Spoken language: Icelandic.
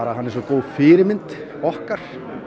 hann er svo góð fyrirmynd okkar